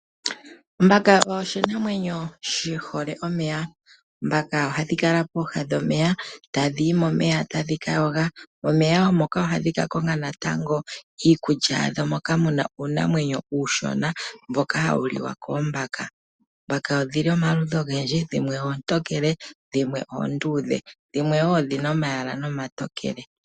Ombaka oshinamwenyo shi hole omeya, oombaka ohadhi kala pooha dhomeya tadhi yi momeya tadhi ka yoga momeya moka ohadhi ka konga iikulya yadho moka mu na uunamwenyo uushona mboka hawu liwa koombaka. Oombaka odhili omaludhi ogendji dhimwe oontokele, dhimwe oondudhe , dhimwe wo odhina omayala nomatokele.